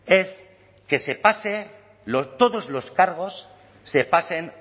es que se pase todos los cargos se pasen